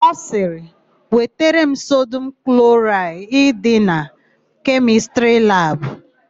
Ọ sịrị, "wetara m sodum kloraịdị na kemịstrị labụ"!